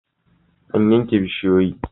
An yanke bishiyoyi?